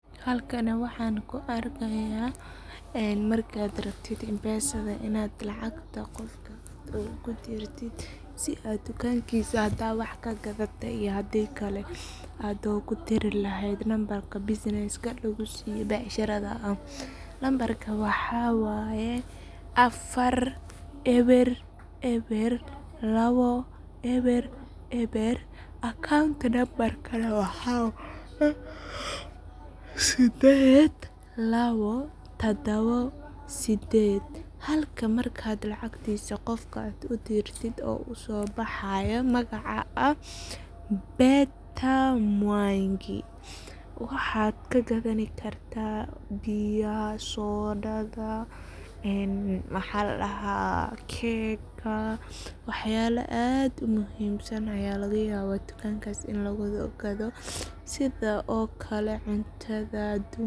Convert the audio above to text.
Halkani waxan kuarkaya markad rabtid inaa mpesada lacagta kudirtid , si aad dukankisa hadad wax kaqadate iyo hadi kale aad ugu diri lehed nambarka bussinesska ee lagu siye ee becsharada ah ,nambarka maxa waye afar eber eber lawo eber eber accountka nambarka waxa waye sideed lawo sided ,halka marka aad qofka marka aad u dirtid magaca uso baxaya oo ah Peter Mwangi .Waxad kagadani karta biyaha, sodadha maxa ladaha cakega wax yala aad u muhimsan aya laga yawa ini dukankas lagu gadoo sidhe okale cuntada adunka .